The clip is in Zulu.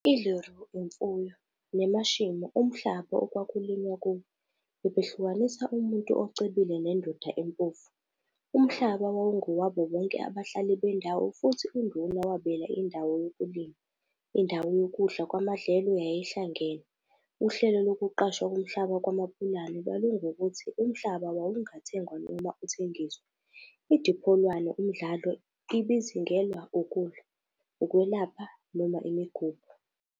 ILeruo, imfuyo, neMashemo, umhlaba okwakulinywa kuwo, bebehlukanisa umuntu ocebile nendoda empofu. Umhlaba wawungowabo bonke abahlali bendawo futhi uNduna wabela indawo yokulima. Indawo yokudla kwamadlelo yayihlangene. Uhlelo lokuqashwa komhlaba kwaMapulana lwalungukuthi umhlaba wawungathengwa noma uthengiswe. IDipholwane, umdlalo, ibizingelwa ukudla, ukwelapha noma imigubho.